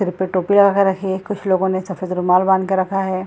सिर पे टोपिया रख रखे हैं कुछ लोगो ने सफ़ेद रुमाल बांध के रखा है।